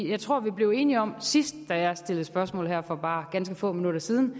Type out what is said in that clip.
jeg tror at vi blev enige om sidst jeg stillede spørgsmål her for bare ganske få minutter siden